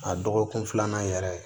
A dɔgɔkun filanan yɛrɛ